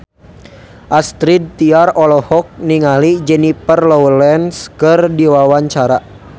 Astrid Tiar olohok ningali Jennifer Lawrence keur diwawancara